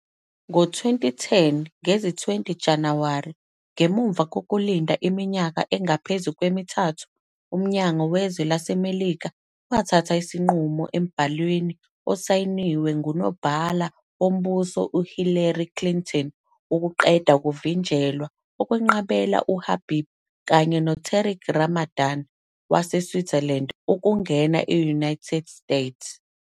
Ngo-20 Januwari 2010, ngemuva kokulinda iminyaka engaphezu kwemithathu, uMnyango Wezwe laseMelika uthathe isinqumo, embhalweni osayinwe nguNobhala Wombuso uHillary Clinton, wokuqeda ukuvinjelwa okwenqabela uHabib, kanye noTariq Ramadan waseSwitzerland, ukungena e-United Izwe.